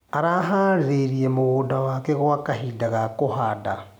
Araharĩirie mũgũnda wake gwa kahinda ga kũhanda.